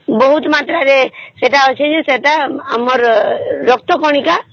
ବହୁତ ମାତ୍ର ରେ ଅଛି ଯେ ସେତ ଆମର ରକ୍ତ କଣିକା